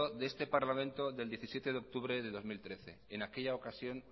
de este parlamento del diecisiete de octubre del dos mil trece en aquella ocasión